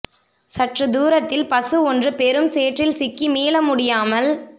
சற்று தூரத்தில் பசு ஒன்று பெரும் சேற்றில் சிக்கி மீள முடியாமல்